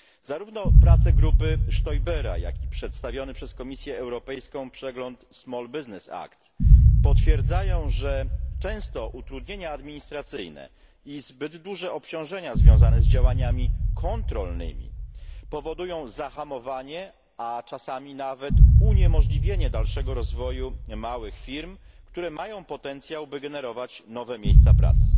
Zarówno prace grupy Stoibera, jak i przedstawiony przez Komisję Europejską przegląd Small Business Act potwierdzają, że często utrudnienia administracyjne i zbyt duże obciążenia związane z działaniami kontrolnymi powodują zahamowanie, a czasami nawet uniemożliwienie dalszego rozwoju małych firm, które mają potencjał, by generować nowe miejsca pracy.